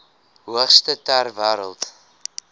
hoogste ter wêreld